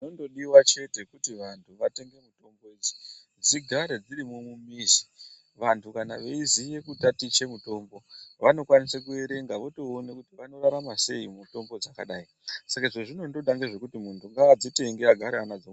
Zvinondodiwa chete kuti vantu vatenege mitombi idzi dzigare dziri mumimizi vantu kana veiziye kutatiche mitombi vanokwanise kuerenga votoona kuti vanorarama sei mumitombo dzakadayi saka zvazvinondoda ngezvekuti muntu ngaadzitenge agare anadzo.